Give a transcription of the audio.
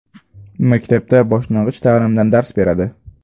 Maktabda boshlang‘ich ta’limdan dars beradi.